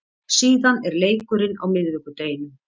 Síðan er leikurinn á miðvikudeginum.